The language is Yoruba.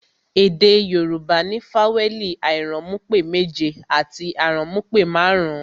Èdè Yorùbá ní fawẹẹli airanmupe méje àti aranmupe marun-un